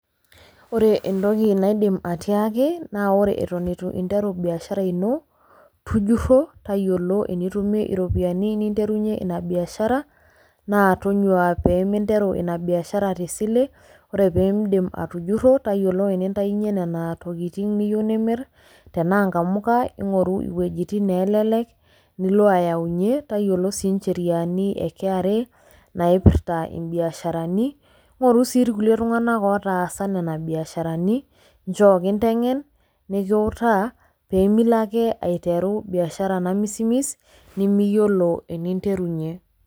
Ore entoki naidim atiaaki naa ore eton itu interu biashara ino , tujuro tayiolo enintayunyie iropiyiani ina biashara naa tonyuaa peminteru ina biashara te sile . Ore pindip atujuro , tayiolo enintayunyie nena tokitin nimir tenaa nkamuka, ingoru iwuejitin neelelek , nilo ayawunyie, tayiolo sii incheriani e kra naipirta imbiasharani. Ngoru sii irkulie tunganak otaasa nena biasharani , nchoo kintengen, nikiutaa , pemilo ake aiteru biashara namismis nemiyiolo eninterunyie.